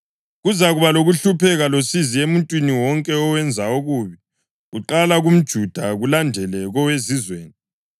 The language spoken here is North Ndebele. Kuzakuba lokuhlupheka losizi emuntwini wonke owenza okubi, kuqala kumJuda kulandele koweZizweni,